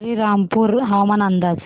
श्रीरामपूर हवामान अंदाज